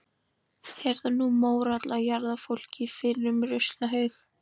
Er það nú mórall að jarða fólk í fyrrum ruslahaug.